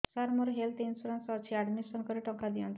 ସାର ମୋର health insurance ଅଛି ଆଡ୍ମିଶନ କରି ଟଙ୍କା ଦିଅନ୍ତୁ